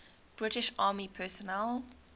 british army personnel